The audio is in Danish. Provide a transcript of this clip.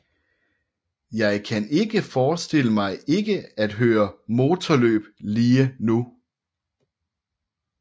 Jeg kan ikke forestille mig ikke at køre motorløb lige nu